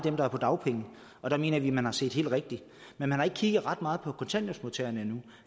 af dem er på dagpenge og der mener vi at man har set helt rigtigt men man har ikke kigget ret meget på kontanthjælpsmodtagerne endnu